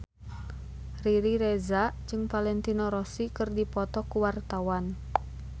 Riri Reza jeung Valentino Rossi keur dipoto ku wartawan